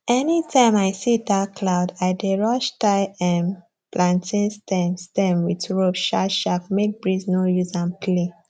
anytime i see dark cloud i dey rush tie um plantain stem stem with rope sharpsharp make breeze no use am play